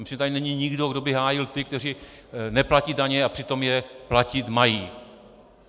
Myslím, že tady není nikdo, kdo by hájil ty, kteří neplatí daně a přitom je platit mají.